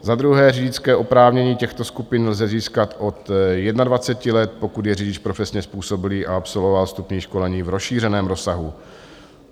Za druhé, řidičské oprávnění těchto skupin lze získat od 21 let, pokud je řidič profesně způsobilý a absolvoval vstupní školení v rozšířeném rozsahu.